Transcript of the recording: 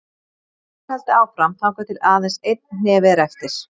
Svo er haldið áfram þangað til aðeins einn hnefi er eftir.